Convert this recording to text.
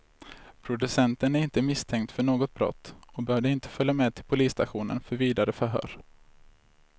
Producenten är inte misstänkt för något brott och behövde inte följa med till polisstationen för vidare förhör.